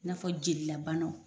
n'a fɔ jeli la banaw.